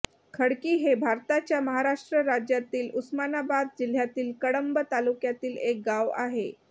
खडकी हे भारताच्या महाराष्ट्र राज्यातील उस्मानाबाद जिल्ह्यातील कळंब तालुक्यातील एक गाव आहे